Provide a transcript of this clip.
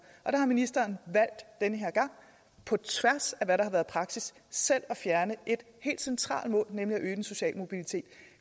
der har ministeren valgt den her gang på tværs af hvad der har været praksis selv at fjerne et helt centralt mål om øge den sociale mobilitet